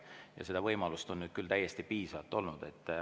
Ja seda võimalust on nüüd küll täiesti piisavalt olnud.